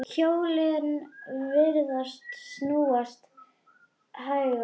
Hjólin virðast snúast hægar.